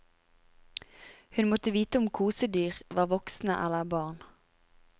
Hun måtte vite om kosedyr var voksne eller barn.